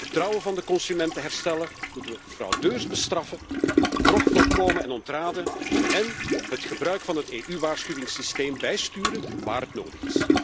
Om het vertrouwen van de consument te herstellen moeten we fraudeurs bestraffen, bedrog voorkomen en ontraden en het gebruik van het EU waarschuwingssysteem bijsturen waar het nodig is.